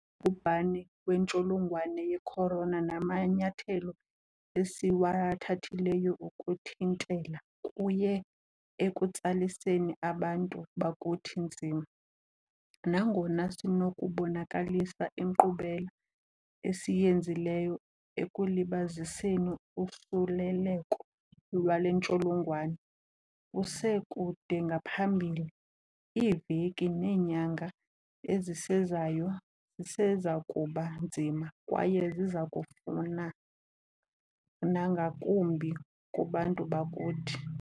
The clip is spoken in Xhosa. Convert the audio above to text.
Ubhubhane wentsholongwane ye-corona namanyathelo esiwathathileyo ukuthintela kuye ekutsaliseni abantu bakuthi nzima. Nangona sinokubonakalisa inkqubela esiyenzileyo ekulibaziseni usuleleko lwale ntsholongwane, kuse kude ngaphambili. Iiveki neenyanga ezisezayo zisezakuba nzima kwaye zizakufuna nangakumbi kubantu bakuthi.